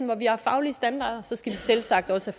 hvor vi har faglige standarder skal de selv sagt også